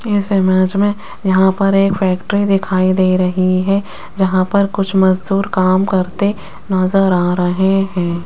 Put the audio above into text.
इस इमेज में यहां पर एक फैक्ट्री दिखाई दे रही है जहां पर कुछ मजदूर काम करते नजर आ रहे हैं।